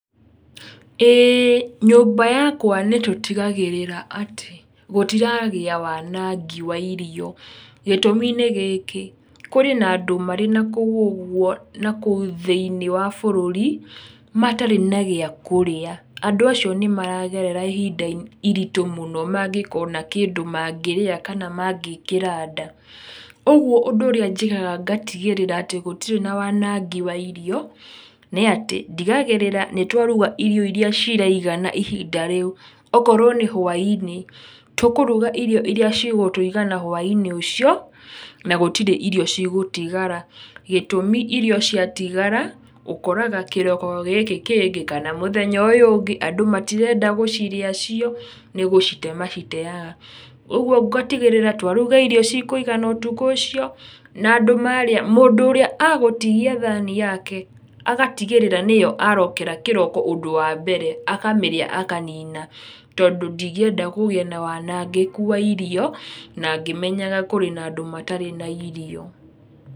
ĩĩ nyũmba yakwa nĩtũtigagĩrĩra atĩ, gũtiragĩa wanangi wa irio, gĩtũmi nĩ gĩkĩ, kũrĩ na andũ marĩ nakũu ũguo nakũu thĩinĩ wa bũrũri, matarĩ na gĩa kũrĩa, andũ acio nĩmaragerera ihinda iritũ mũno mangĩkona kĩndũ mangĩrĩa kana mangĩkĩra ndaa, ũguo ũndũ ũrĩa njĩkaga ngatigĩrĩra atĩ gũtirĩ na wanangi wa irio, nĩ atĩ, ndigagĩrĩra nĩtwaruga irio iria ciraigana ihinda rĩu, okorwo nĩ hwai-inĩ, tũkũruga irio iria cigũtũigana hwai-inĩ ũcio, na gũtirĩ irio cigũtigara, gĩtũmi irio ciatigara, ũkoraga kĩroko gĩkĩ kĩngĩ kana mũthenya ũyũ ũngĩ andũ matirenda gũcirĩa cio, nĩgũcite maciteaga, ũguo ngũtigĩrĩra twaruga irio cikũigana ũtukũ ũcio, na andũ marĩa mũndũ ũrĩa agũtigia thani yake, agatigĩrĩra nĩyo arokera kĩroko ũndũ wa mbere, akamĩrĩa akamĩnina tondũ ndingĩenda kũgĩe na wanangĩku wa irio, na ngĩmenyaga kũrĩ na andũ matarĩ na irio.